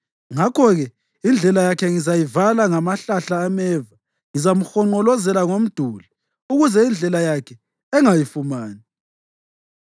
Ngakho-ke indlela yakhe ngizayivala ngamahlahla ameva; ngizamhonqolozela ngomduli ukuze indlela yakhe angayifumani.